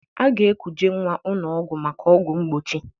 A ga-ekuje nnwa ụnọ ọgwụ maka ọgwụ mgbochi.